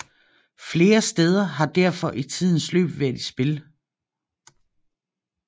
Flere steder har derfor i tidens løb været i spil